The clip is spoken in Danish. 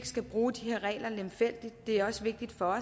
skal bruge de her regler lemfældigt det er også vigtigt for